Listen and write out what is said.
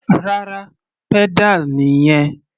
Rárá, pedal nìyẹn.